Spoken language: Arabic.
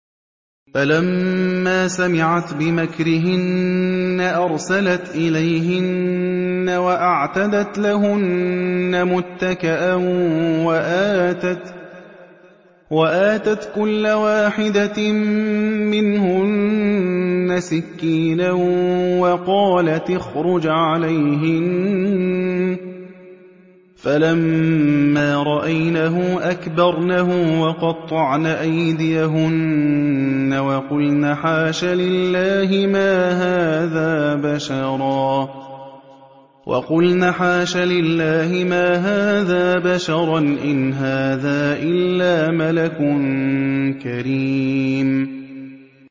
فَلَمَّا سَمِعَتْ بِمَكْرِهِنَّ أَرْسَلَتْ إِلَيْهِنَّ وَأَعْتَدَتْ لَهُنَّ مُتَّكَأً وَآتَتْ كُلَّ وَاحِدَةٍ مِّنْهُنَّ سِكِّينًا وَقَالَتِ اخْرُجْ عَلَيْهِنَّ ۖ فَلَمَّا رَأَيْنَهُ أَكْبَرْنَهُ وَقَطَّعْنَ أَيْدِيَهُنَّ وَقُلْنَ حَاشَ لِلَّهِ مَا هَٰذَا بَشَرًا إِنْ هَٰذَا إِلَّا مَلَكٌ كَرِيمٌ